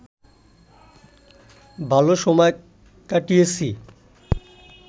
ভালো সময় কাটিয়েছি